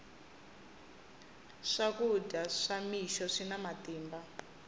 swakudya swa ni mixo swina matimba